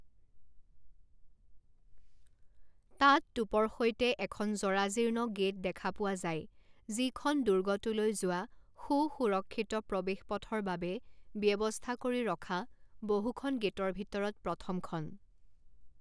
তাত টুপৰ সৈতে এখন জৰাজীৰ্ণ গেট দেখা পোৱা যায় যিখন দুৰ্গটোলৈ যোৱা সু সুৰক্ষিত প্ৰৱেশপথৰ বাবে ব্যৱস্থা কৰি ৰখা বহুখন গেটৰ ভিতৰত প্ৰথমখন।